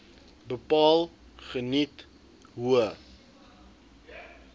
bepaal geniet hoë